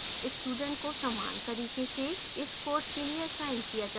students को समान तरीके से इस course के लिए असाइन किया जा सकता है